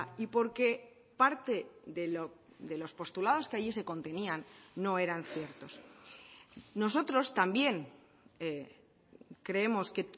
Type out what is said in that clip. y porque parte de los postulados que allí se contenían no eran ciertos nosotros también creemos que